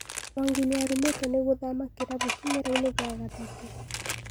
Mwangi niarumetwo nĩ gũthama kĩrabu kĩmerainĩ gĩa gatatũ